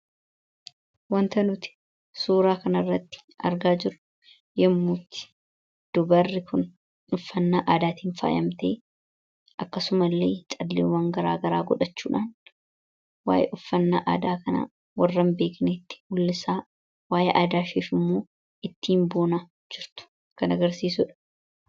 Suuraa kanaa gadii irratti kan argamu dubartii uffata aadaan faayyamtee akkasumas calleewwan garaa garaa godhachuudhaan waa'ee uffannaa kanaa warra hin beeknee fi aadaa ishee beeksisaa kan jirtuu dha.